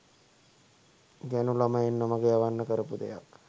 ගෑනු ළමයින් නොමග යවන්න කරපු දෙයක්